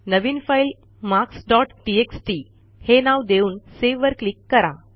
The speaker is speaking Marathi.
नवीन फाईल मार्क्स डॉट टेक्स्ट हे नाव देऊन Saveवर क्लिक करा